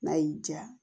N'a y'i diya